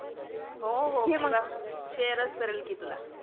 हो हो तुला शेअरच करल की तुला.